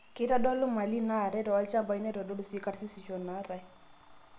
Keitodolu malii naatae tolchampai neitodolu sii karsisisho naatae.